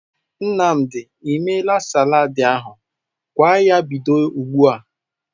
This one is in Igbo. Nnamdi e meela salaadị ahụ? Gwa ya bido ugbu a!